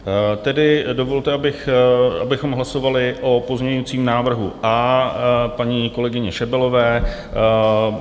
Tedy dovolte, abychom hlasovali o pozměňovacím návrhu A paní kolegyně Šebelové.